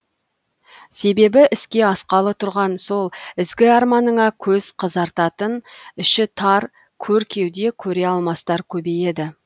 себебі іске асқалы тұрған сол ізгі арманыңа көз қызартатын іші тар көр кеуде көре алмастар көбейеді